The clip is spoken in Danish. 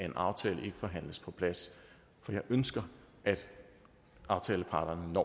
en aftale ikke forhandles på plads for jeg ønsker at aftaleparterne